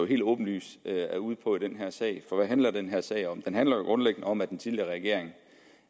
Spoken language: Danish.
helt åbenlyst er ude på i den her sag for hvad handler den her sag om den handler jo grundlæggende om at den tidligere regering